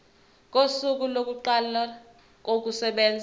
kosuku lokuqala kokusebenza